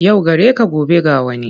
Yau gareka gobe ga wani,